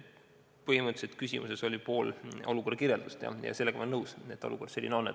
Põhimõtteliselt oli küsimuses pool olukorra kirjeldust ja sellega olen ma nõus, et olukord selline on.